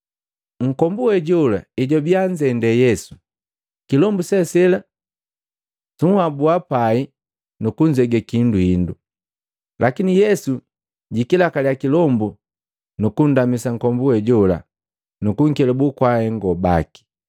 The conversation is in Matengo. Nkombu we jola ejwabiya anzende Yesu, kilombu se sela suhabua pai nukunzege kihindu hindu. Lakini Yesu jikilakaliya kilombu, nukundamisa nkombu we jola nukunkelabu kwa ahengo baki.